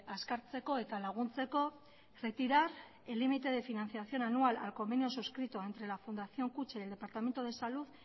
azkartzeko eta laguntzeko retirar el límite de financiación anual al convenio suscrito entre la fundación kutxa y el departamento de salud